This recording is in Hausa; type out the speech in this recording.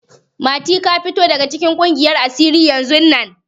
Mati, ka fita daga cikin ƙungiyar asiri yanzun nan!